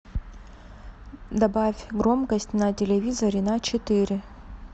добавь громкость на телевизоре на четыре